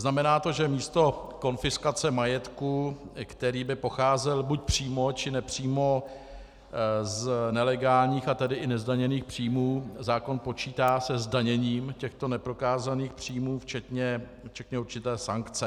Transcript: Znamená to, že místo konfiskace majetku, který by pocházel buď přímo, či nepřímo z nelegálních, a tedy i nezdaněných příjmů, zákon počítá se zdaněním těchto neprokázaných příjmů včetně určité sankce.